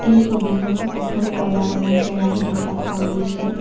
এই ছবিখনত এখন ক'লা ৰঙৰ কেৰাহি দেখা পোৱা গৈছে।